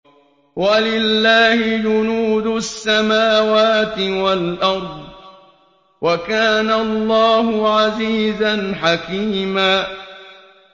وَلِلَّهِ جُنُودُ السَّمَاوَاتِ وَالْأَرْضِ ۚ وَكَانَ اللَّهُ عَزِيزًا حَكِيمًا